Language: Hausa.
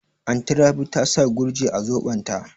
Anty Rabi ta sa Gurji a zobon ta